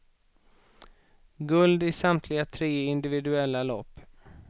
Guld i samtliga tre individuella lopp.